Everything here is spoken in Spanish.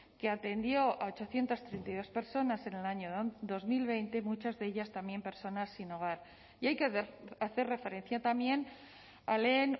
que atendió a ochocientos treinta y dos personas en el año dos mil veinte muchas de ellas también personas sin hogar y hay que hacer referencia también a lehen